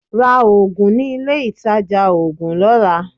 Ra oògùn ní ilé ìtajà oògùn lọ́la.